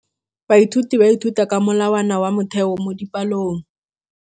Baithuti ba ithuta ka molawana wa motheo mo dipalong.